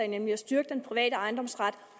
nemlig at styrke den private ejendomsret